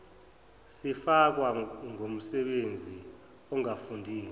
sifakwa ngumsebenzi ongafundile